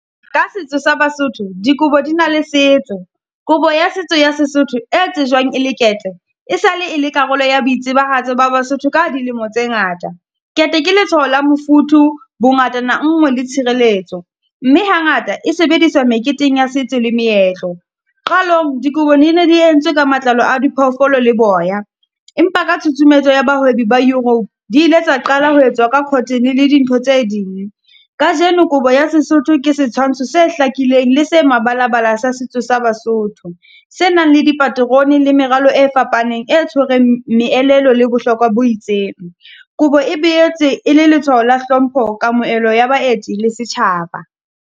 Ka setso sa Basotho, dikobo di na le setso, kobo ya setso ya Sesotho e tsejwang e le ketle, e sale e le karolo ya boitsebahatso ba Basotho ka dilemo tse ngata. Kete ke letshwaho la mofuthu bongatana nngwe le tshireletso. Mme ha ngata e sebediswa meketeng ya setso le meetlo, qalong dikobong di ne di entswe ka matlalo a diphoofolo le boya. Empa ka tshutshumetso ya bahwebi ba Europe, di ile tsa qala ho etswa ka cotton le dintho tse ding. Kajeno kobo ya Sesotho ke setshwantsho se hlakileng le se e mebalabala sa setso sa Basotho, se nang le dipaterone le meralo e fapaneng e tshwereng meelelo le bohlokwa bo itseng. Kobo e boetse e le letshwaho la hlompho, kamohelo ya baeti le setjhaba.